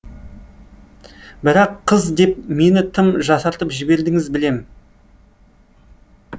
бірақ қыз деп мені тым жасартып жібердіңіз білем